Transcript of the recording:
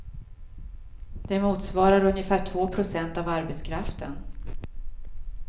Det motsvarar ungefär två procent av arbetskraften.